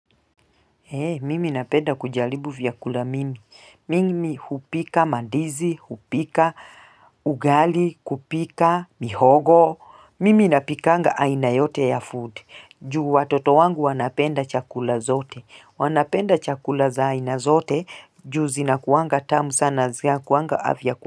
Mimi napenda kujaribu vyakula mingi. Mimi hupika, mandizi, hupika, ugali, kupika, mihogo. Mimi napikanga aina yote ya food. Ju watoto wangu wanapenda chakula zote. Wanapenda chakula za aina zote. Juu zinakuanga tamu sana zinakuanga afya kuangu.